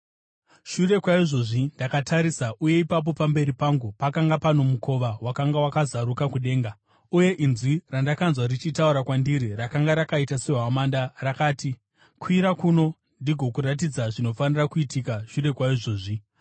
Shure kwaizvozvi ndakatarisa, uye ipapo pamberi pangu pakanga pano mukova wakanga wakazaruka kudenga. Uye inzwi randakanzwa richitaura kwandiri rakanga rakaita sehwamanda, rakati, “Kwira kuno, ndigokuratidza zvinofanira kuitika shure kwaizvozvi.”